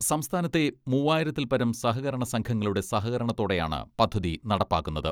സംസ്ഥാനത്തെ മൂവായിരത്തിൽപരം സഹകരണ സംഘങ്ങളുടെ സഹകരണത്തോടെയാണ് പദ്ധതി നടപ്പാക്കുന്നത്.